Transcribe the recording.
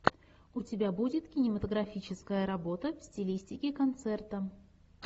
у тебя будет кинематографическая работа в стилистике концерта